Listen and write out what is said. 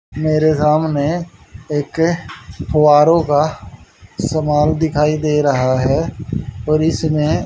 मेरे सामने एक फुव्वारे का समान दिखाई दे रहा है और इसमें--